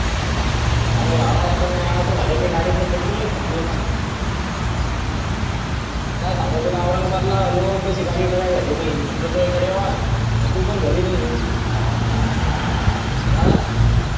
अरे हां पण मग असं झालं का गाडीतलं petrol च संपलं ये ना काय सांगावं औरंगाबादला आलो अन तशी गाडी dry झाली म्हंटल तू इकडं यावं पण तू घरी नाही ये अं